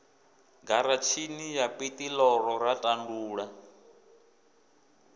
garatshini ya piṱirolo ra ṱandula